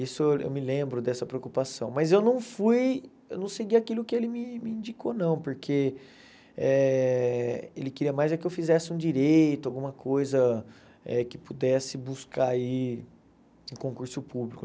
Isso eu me lembro dessa preocupação, mas eu não fui eu não segui aquilo que ele me me indicou não, porque eh ele queria mais é que eu fizesse um direito, alguma coisa eh que pudesse buscar aí concurso público.